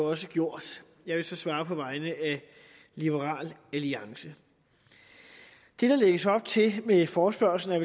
også gjort jeg vil så svare på vegne af liberal alliance det der lægges op til med forespørgslen er